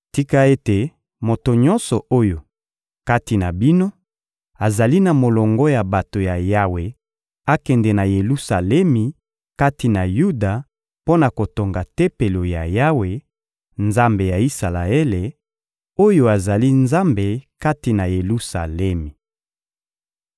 Tika ete moto nyonso oyo, kati na bino, azali na molongo ya bato ya Yawe akende na Yelusalemi kati na Yuda mpo na kotonga Tempelo ya Yawe, Nzambe ya Isalaele, oyo azali Nzambe kati na Yelusalemi!